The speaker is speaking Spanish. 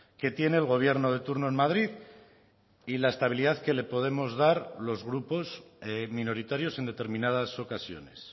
que tiene el gobierno de turno en madrid y la estabilidad que le podemos dar los grupos minoritarios en determinadas ocasiones